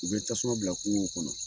U bɛ tasuma bila kungow kɔnɔ.